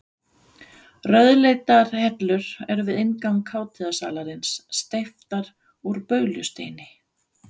Rauðleitar hellur eru við inngang hátíðasalarins, steyptar úr baulusteini.